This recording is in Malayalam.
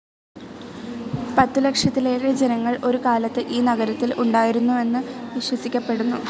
പത്തു ലക്ഷത്തിലേറെ ജനങ്ങൾ ഒരു കാലത്ത് ഈ നഗരത്തിൽ ഉണ്ടായിരുന്നെന്ന് വിശ്വസിക്കപ്പെടുന്നു.